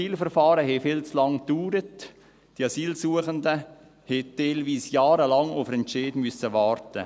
Die Asylverfahren dauerten viel zu lange, die Asylsuchenden mussten teilweise jahrelang auf einen Entscheid warten.